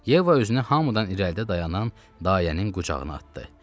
Yeva özünü hamıdan irəlidə dayanan dayənin qucağına atdı.